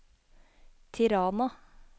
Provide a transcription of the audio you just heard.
Tirana